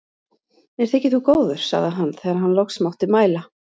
Mér þykir þú góður, sagði hann þegar hann loks mátti mæla.